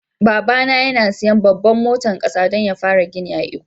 Baba na yana siyan babban motan kasa dan ya fara gini a lkko.